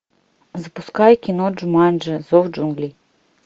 запускай кино джуманджи зов джунглей